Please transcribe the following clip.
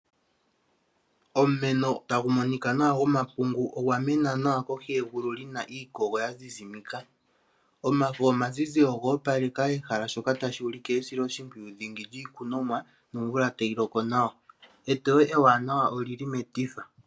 Omapungu oga mena nawa geli kohi yegulu lyina iikogo ya zizimika nomafo omazizi ogoopaleka ehala shika ota shuulike kutya iikunomwa oyasilwa oshimpwiyu nawa nomvula otayi loko nawa, neteyo ewanawa olili metifa.